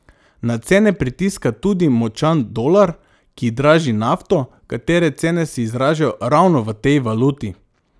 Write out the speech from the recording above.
Na cene pritiska tudi močan dolar, ki draži nafto, katere cene se izražajo ravno v tej valuti.